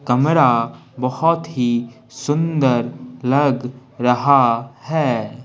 कमरा बहुत ही सुंदर लग रहा है।